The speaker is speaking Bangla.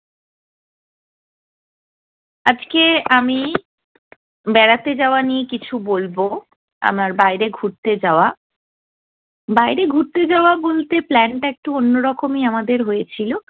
আজকে আমি বেড়াতে যাওয়া নিয়ে কিছু বলবো। আমার বাইরে ঘুরতে যাওয়া, বাইরে ঘুরতে যাওয়া বলতে plan টা একটু অন্য রকমই আমাদের হয়ে ছিলো।